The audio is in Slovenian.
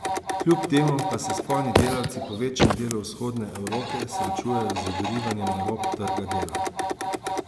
Kljub temu pa se spolni delavci po večjem delu vzhodne evrope srečujejo z odrivanjem na rob trga dela.